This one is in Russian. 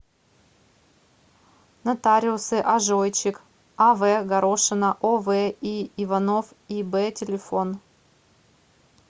нотариусы ажойчик ав горошина ов и иванов иб телефон